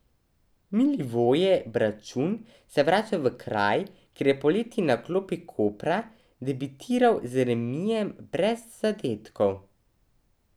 Milivoje Bračun se vrača v kraj, kjer je poleti na klopi Kopra debitiral z remijem brez zadetkov.